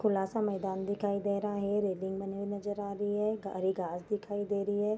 खुला सा मैदान दिखाई दे रहा है रेलिंग बनी हुई नजर आ रही है हरी घास दिखाई दे रही है ।